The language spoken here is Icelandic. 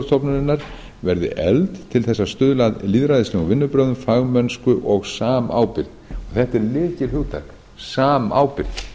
stofnunarinnar verði efld til þess að stuðla að lýðræðislegum vinnubrögðum fagmennsku og samábyrgð þetta er lykilhugtak samábyrgð